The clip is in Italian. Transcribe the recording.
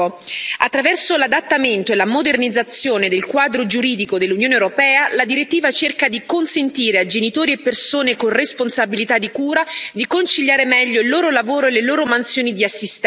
Attraverso l'adattamento e la modernizzazione del quadro giuridico dell'Unione europea, la direttiva cerca di consentire a genitori e persone con responsabilità di cura di conciliare meglio il loro lavoro e le loro mansioni di assistenza.